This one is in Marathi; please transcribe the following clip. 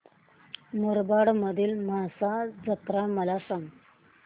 मुरबाड मधील म्हसा जत्रा मला सांग